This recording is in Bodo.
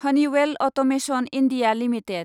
Honeywell Automation India limited